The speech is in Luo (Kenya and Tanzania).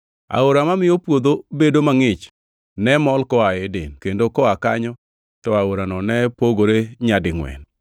Aora mamiyo puodho bedo mangʼich ne mol koa Eden; kendo koa kanyo to aorano ne pogore nyadingʼwen.